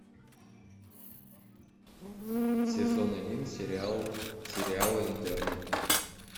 сезон один сериала интерны